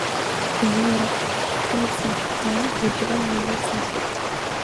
ciyaar liiska aan ugu jeclahay liiska